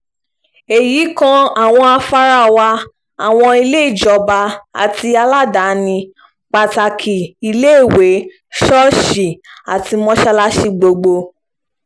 èyí kan àwọn afárá wa àwọn ilé ìjọba àti aládàáni pàtàkì iléèwé ṣọ́ọ̀ṣì àti mọ́sálásì gbogbo